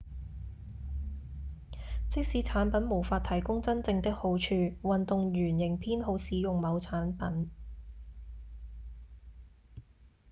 即使產品無法提供真正的好處運動員仍偏好使用某產品